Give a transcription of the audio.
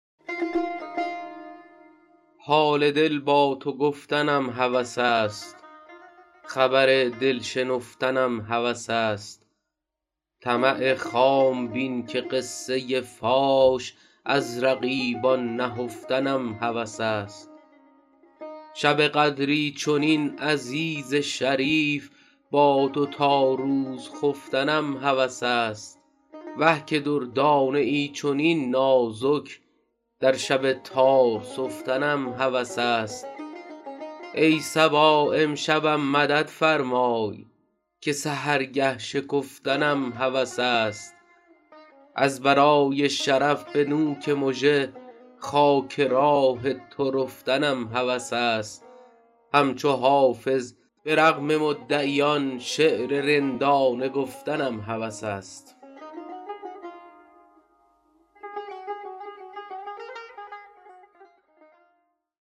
حال دل با تو گفتنم هوس است خبر دل شنفتنم هوس است طمع خام بین که قصه فاش از رقیبان نهفتنم هوس است شب قدری چنین عزیز شریف با تو تا روز خفتنم هوس است وه که دردانه ای چنین نازک در شب تار سفتنم هوس است ای صبا امشبم مدد فرمای که سحرگه شکفتنم هوس است از برای شرف به نوک مژه خاک راه تو رفتنم هوس است همچو حافظ به رغم مدعیان شعر رندانه گفتنم هوس است